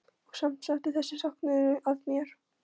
Og samt settist þessi söknuður að mér.